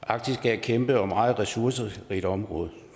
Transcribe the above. arktis er et kæmpe og meget ressourcerigt område